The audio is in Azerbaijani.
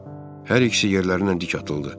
Hər ikisi yerlərindən dik atıldı.